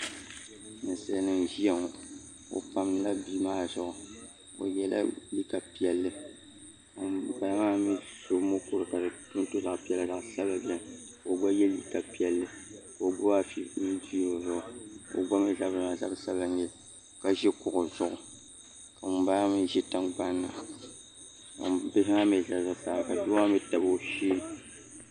Ninsali nima n ziya ŋɔ o pamdila bia maa zuɣu o yiɛla liiga piɛlli ka ŋuni bala maa mi so mukuri ka di to zaɣi piɛlli ka zaɣi sabinli bɛ nika o gba yiɛ liiga piɛlli ka o gbubi afi n viiri o zuɣu o gba mi zabiri maa zabi sabila n nyɛli ka zi kuɣu zuɣu ka ŋuni bala maa mi zi tiŋgbani ni bihi maa mi zala zuɣusaa ka doo maa mi tabi .